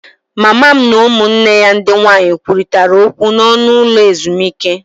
Mama m na ụmụnne ya ndị nwanyị kwurịtara okwu n'ọnụ ụlọ ezumike